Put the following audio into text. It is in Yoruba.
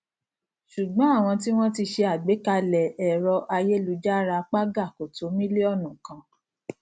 ṣùgbọn àwọn tí wọn tí ṣe àgbàkalẹ ẹrọayélujára paga kò tó mílíònù kan